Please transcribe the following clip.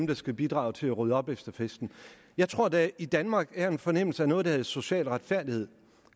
der skal bidrage til at rydde op efter festen jeg tror at der i danmark er en fornemmelse af noget der hedder social retfærdighed